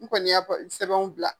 N kɔni ya fɔ sɛbɛnw bila.